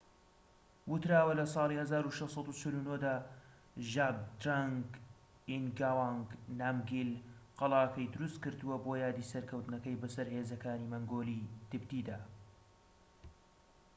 وتراوە لە ساڵی ١٦٤٩ دا ژابدرەنگ ئینگاوانگ نامگیل قەلاکەی دروست کردوە بۆ یادی سەرکەوتنەکەی بەسەر هێزەکانی مەنگۆلیی-تبتیدا